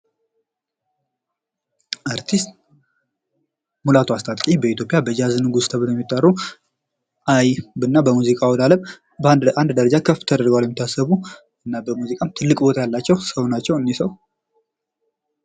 አርቲስት ሙላቱ አስታጥቄ በኢትዮጵያ የጃዝ ንጉስ ተብለው የሚጠሩ አይን እና በሙዚቃው ዓለም በአንድ ለአንድ ደረጃ ከፍ ተደርጓል ተብሎ ከሚታሰሩ እናም በሙዚቃ ትልቅ ቦታ ያላቸው ሰው እነዚህ ሰው ናቸው እኒህ ሰው::